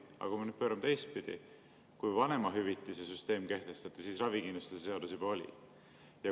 Aga pöörame selle teistpidi: kui vanemahüvitise süsteem kehtestati, siis ravikindlustuse seadus juba oli.